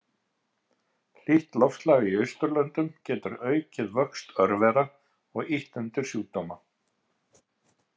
Hlýtt loftslag í Austurlöndum getur aukið vöxt örvera og ýtt undir sjúkdóma.